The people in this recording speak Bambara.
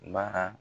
Baara